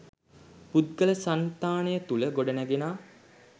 පුද්ගල සන්තානය තුළ ගොඩනැඟෙනා